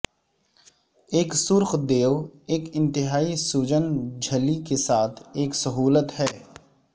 ایک سرخ دیو ایک انتہائی سوجن جھلی کے ساتھ ایک سہولت ہے